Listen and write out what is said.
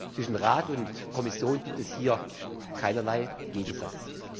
Zwischen Rat und Kommission gibt es hier keinerlei Gegensatz.